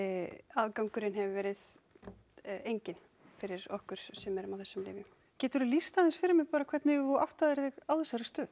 aðgangurinn hefur verið enginn fyrir okkur sem erum á þessum lyfjum geturðu lýst aðeins fyrir mér bara hvernig þú áttaðir þig á þessari stöðu